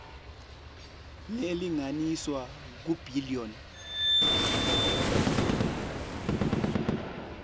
lelinganiselwa kur billion